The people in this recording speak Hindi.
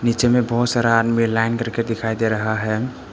बीच में बहुत सारा आदमी लाइन करके दिखाई दे रहा है।